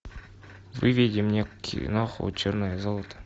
выведи мне киноху черное золото